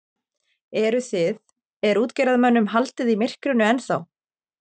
Eruð þið, er útgerðarmönnum haldið í myrkrinu ennþá?